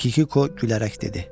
Kikuko gülərək dedi.